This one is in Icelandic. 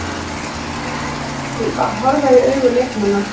Að horfa í augu leikmanna